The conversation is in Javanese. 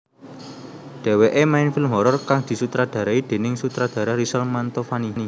Dheweké main film horor kang disutradarai déning sutradara Rizal Mantovani